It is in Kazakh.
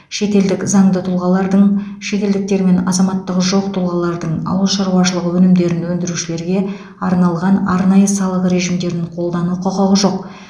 шетелдік заңды тұлғалардың шетелдіктер мен азаматтығы жоқ тұлғалардың ауыл шаруашылығы өнімдерін өндірушілерге арналған арнайы салық режимдерін қолдану құқығы жоқ